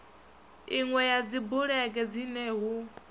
inwe ya dzibulege dzine hu